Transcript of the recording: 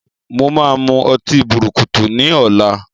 Mo máa mú ọtí bùrùkùtù ni ọ̀la.